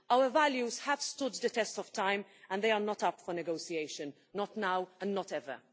Our values have stood the test of time and they are not up for negotiation not now and not ever.